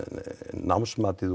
námsmatið